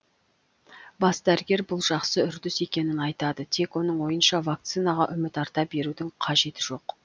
бас дәрігер бұл жақсы үрдіс екенін айтады тек оның ойынша вакцинаға үміт арта берудің қажеті жоқ